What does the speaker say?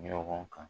Ɲɔgɔn kan